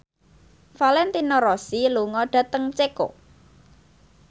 Valentino Rossi lunga dhateng Ceko